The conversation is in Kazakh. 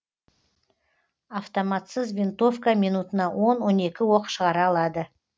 автоматсыз винтовка минутына он он екі оқ шығара алады